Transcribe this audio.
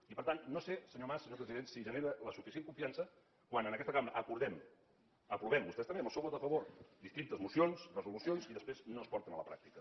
i per tant no sé senyor mas senyor president si genera la suficient confiança quan en aquesta cambra acordem aprovem vostès també amb el seu vot a favor distintes mocions resolucions i després no es porten a la pràctica